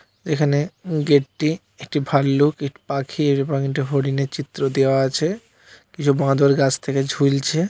এখানে গেট টি একটি ভাল্লুক পাখির বা একটি হরিণের চিত্র দেওয়া আছে কিছু বাঁদর গাছ থেকে ঝুলছে।